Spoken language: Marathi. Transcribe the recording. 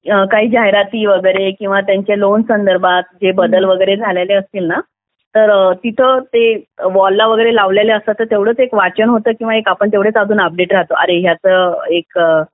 काही जाहिराती वगैरे किंवा त्यांच्या लोन संदर्भात जे बदल वगैरे झालेले असतात ना तर तिथे ते वॉल ला वगैरे लावलेले असतात तर तेवढेच एक वाचन होतं किंवा तेवढेच आपण एक अपडेट राहतो की अरे याचं एक